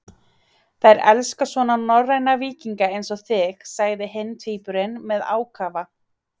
Þær elska svona norræna víkinga eins og þig, sagði hinn tvíburinn með ákafa.